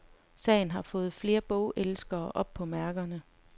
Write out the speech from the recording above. Sagen har fået flere bogelskere op på mærkerne.